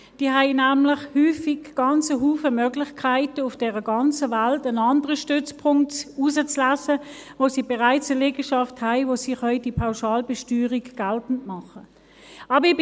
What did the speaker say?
Sie haben nämlich häufig einen ganzen Haufen Möglichkeiten, auf der ganzen Welt einen anderen Stützpunkt auszuwählen, an dem sie bereits eine Liegenschaft haben, wo sie die Pauschalbesteuerung geltend machen können.